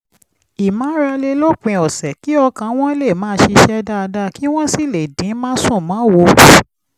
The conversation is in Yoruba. ìmárale lópin ọ̀sẹ̀ kí ọkàn wọn lè máa ṣiṣẹ́ dáadáa kí wọ́n sì lè dín másùnmáwo kù